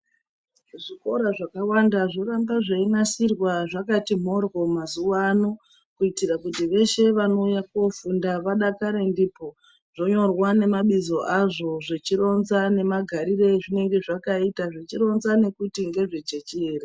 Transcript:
Zvikora zvakawanda zvoramba zveinasirwa zvakati mhorwo mazuwa ano kuitira kuti veshe vanouya koofunda vadakare ndipo. Zvonyorwa ngemabizo azvo zveironza nemagariro azvinenge zvakaita zvichironza ngekuti ngezvechechi ere.